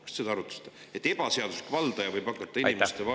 Kas te seda arutasite, et ebaseaduslik valdaja võib hakata inimeste vara ära võtma?